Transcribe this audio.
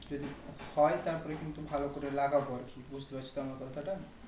যদি হয় তারপরে কিন্তু ভালো করে লাগাবো বুজতে পারছো তো আমার কথাটা